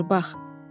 Odur, bax.